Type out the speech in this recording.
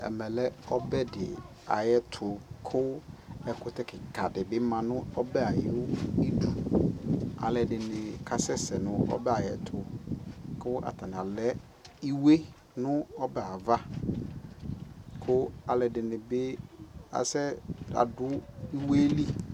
Ɛmɛ lɛ ɔbɛdι ayʋɛtu kʋ ɛkʋtɛ kika dι bι ma nʋ ɔbɛ ayʋidu kalʋɔdini kasɛsɛ nʋ ɔbɛ yɛ ayʋɛtu kʋ atani alɛ iwe nʋɔbɛ hɛ ava kʋ alʋɔdini bι asɛ adʋ ʋwe yɛ lι